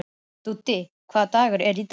Úddi, hvaða dagur er í dag?